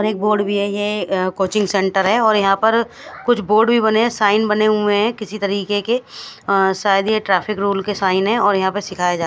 एक बोर्ड भी है ये कोचिंग सेंटर है और यह पर कुछ बोर्ड भी बने हुए है साइन बने हुए है किसी तरीके के अ- शायद ये ट्रैफिक रूल के साइन है और यह पर सिखाया जाता है।